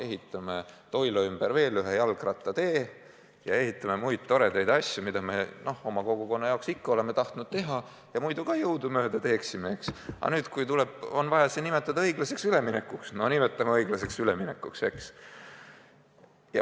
Ehitame Toila ümber veel ühe jalgrattatee ja ehitame muid toredaid asju, mida me oma kogukonna jaoks ikka oleme teha tahtnud ja muidu jõudumööda teeksimegi – ja kui vaja, siis nimetame selle ümber õiglaseks üleminekuks.